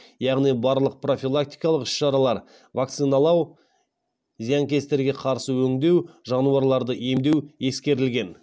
яғни барлық профилактикалық іс шаралар вакциналау зиянкестерге қарсы өңдеу жануларды емдеу ескерілген